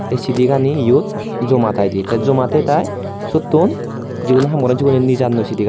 Ei sidi gani iyot joma taide te joma tey tai sotun jigun haam goron sigune nejannoi sidi.